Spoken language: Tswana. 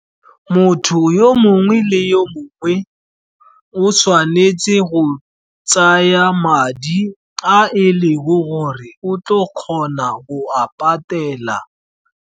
Motho yo mongwe le yo mongwe o tshwanetse go tsaa madi a e leng gore o tlo kgona go a patela.